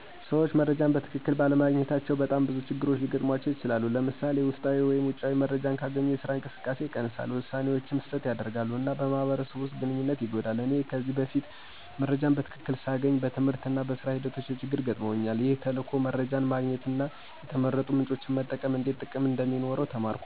ሰዎች መረጃን በትክክል ባለማግኘታቸው በጣም ብዙ ችግሮች ሊገጥሙባቸው ይችላሉ። ለምሳሌ፣ ውስጣዊ ወይም ውጪ መረጃ ካላገኙ የስራ እንቅስቃሴ ይቀንሳል፣ ውሳኔዎችም ስህተት ያደርጋሉ፣ እና በማህበረሰብ ውስጥ ግንኙነት ይጎዳል። እኔም በፊት መረጃ በትክክል ሳላገኝ በትምህርትና በሥራ ሂደቶቼ ችግር ገጥመውኛል። ይህ ተልዕኮ በመረጃ ማግኘትና የተመረጡ ምንጮችን መጠቀም እንዴት ጥቅም እንደሚኖረው ተማርኩ።